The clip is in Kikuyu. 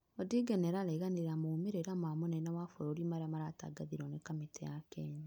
Odinga nĩarareganĩre na maumĩrĩra ma mũnene wa bũrũri marĩa maratangathirwo nĩ kamĩtĩ ya Kenya